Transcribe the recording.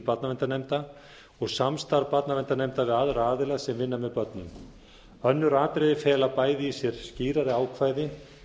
barnaverndarnefnda og samstarf barnaverndarnefnd við aðra aðila sem vinna með börnum önnur atriði fela bæði í sér skýrari ákvæði